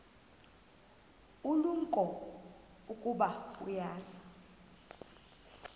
ulumko ukuba uza